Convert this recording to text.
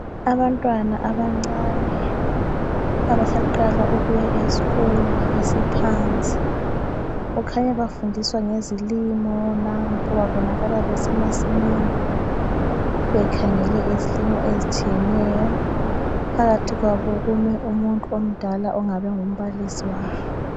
Abantwana abancane abasaqala ukuya eskolo esiphansi, kukhanya bafundiswa ngezilimo nampo babonakala besemasamini bakhangele izilimo ezitshiyeneyo. Phakathi kwabo kume umuntu omdala ongabe engumbalisi wabo.